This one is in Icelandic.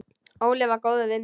Óli var góður við mig.